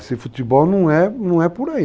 Esse futebol não é por aí.